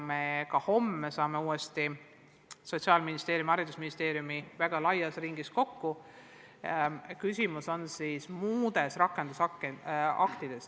Me juba homme saame jälle Sotsiaalministeeriumi ja haridusministeeriumi väga laias ringis kokku, et arutada rakendusakte.